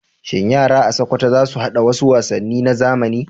Shin yara a Sokoto za su haɗa wasu wasanni na zamani?